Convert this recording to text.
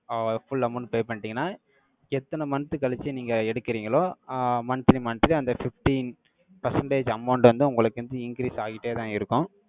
ஆஹ் full amount pay பண்ணிட்டீங்கன்னா, எத்தனை month கழிச்சு, நீங்க எடுக்கறீங்களோ, அஹ் monthly monthly அந்த fifteen percentage amount வந்து, உங்களுக்கு வந்து, increase ஆயிட்டேதான் இருக்கும்.